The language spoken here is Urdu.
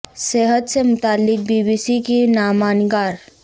صحت سے متعلق بی بی سی کی نامہ نگار